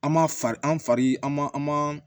An ma far'an fari an ma an ma